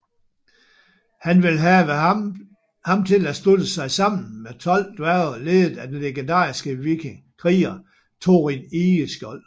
Han vil have ham til at slutte sig sammen med 12 dværge ledet af den legendariske kriger Thorin Egeskjold